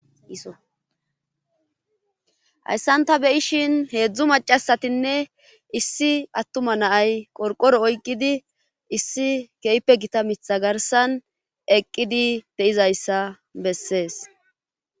hayssan ta beyishin heedzdzu macasatinne issi attuma naay qorqoro oyqqidi issi keype gita mitha garsan eqqidi beyizayssa bessees